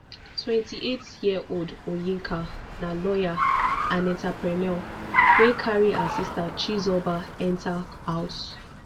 twenty-eightyearold onyeka na lawyer and entrepreneur wey carry her sister chizoba enta house